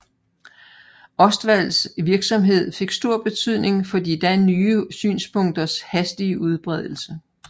Ostwalds virksomhed fik stor betydning for de da nye synspunkters hastige udbredelse